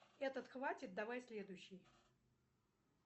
этот хватит давай следующий